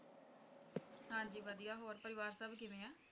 ਹਾਂ ਜੀ ਵਧੀਆ ਹੋਰ ਪਰਿਵਾਰ ਸਭ ਕਿਵੇਂ ਹੈ